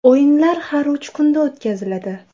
O‘yinlar har uch kunda o‘tkaziladi.